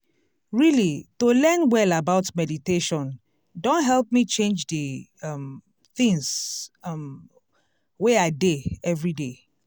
really to learn well about meditation don help me change d um things um wey i dey everyday.